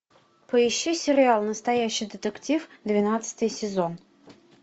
поищи сериал настоящий детектив двенадцатый сезон